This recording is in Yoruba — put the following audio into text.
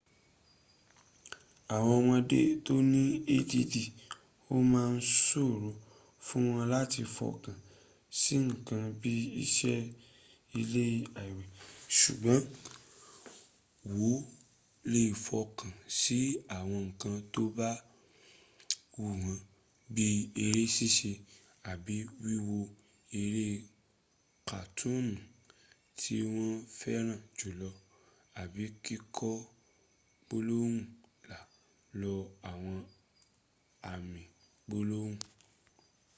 awon omode to ni add o ma n soro fun won lati fokan si nkan bii ise ile iawe sugboon wo le fokan si awon nkan to ba wu won bii ere sise abi wiwo ere katooni ti won feran julo abi kiko gbolohun lai lo awon ami gbolohun